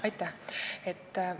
Aitäh!